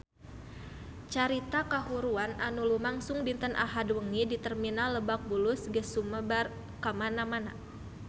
Carita kahuruan anu lumangsung dinten Ahad wengi di Terminal Lebak Bulus geus sumebar kamana-mana